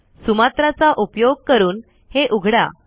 Sumatra चा उपयोग करून हे उघडा